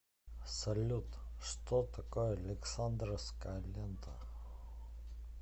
салют что такое александровская лента